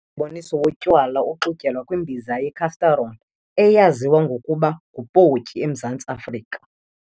Lo mboniso wotywala uxutyelwa kwimbiza ye-cast-iron, eyaziwa ngokuba ngu-potjie emZantsi Afrika.